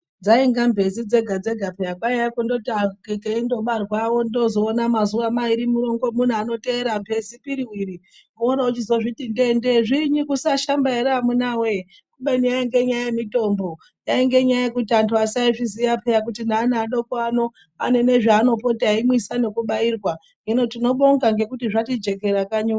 Dzainga mbezi dzega dzega peya kwaiye kundooti keindobarwa wondozoona mazuwa mairi marongomuna anoteera mbezi piriwiri, worochizozviti ndege zvinyi kusashamba ere amunawe kubeni yainge nyaya yemitombo , yainge nyaya yekuti antu asaizviziya peya kuti neana adoko ano anenezvaanopota eimwisa nekubairwa hino tinobonga ngekuti zvatijekera kanyi uno.